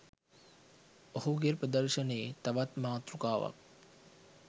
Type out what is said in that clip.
ඔහුගේ ප්‍රදර්ශනයේ තවත් මාතෘකාවක්.